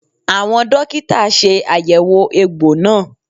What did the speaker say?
Àwọn dókítà ṣe àyẹ̀wò egbò náà